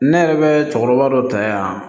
Ne yɛrɛ bɛ cɛkɔrɔba dɔ ta yan